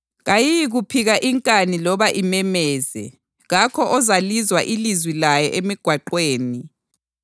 Kayiyikuphika inkani loba imemeze; kakho ozalizwa ilizwi layo emigwaqweni.